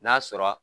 N'a sɔrɔ